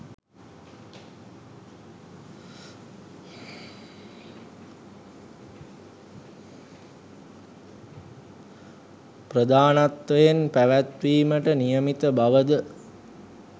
ප්‍රධානත්වයෙන් පැවැත්වීමට නියමිත බව ද